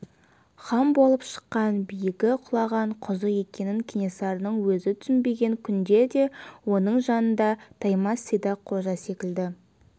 хан болып шыққан биігі құлаған құзы екенін кенесарының өзі түсінбеген күнде де оның жанында таймас сидақ қожа секілді